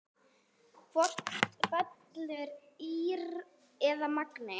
Hvort fellur ÍR eða Magni?